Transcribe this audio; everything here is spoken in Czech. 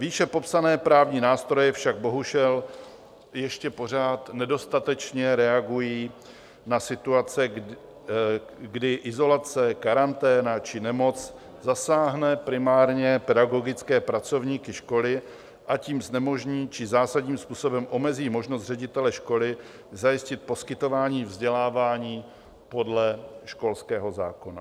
Výše popsané právní nástroje však bohužel ještě pořád nedostatečně reagují na situace, kdy izolace, karanténa či nemoc zasáhne primárně pedagogické pracovníky školy a tím znemožní či zásadním způsobem omezí možnost ředitele školy zajistit poskytování vzdělávání podle školského zákona.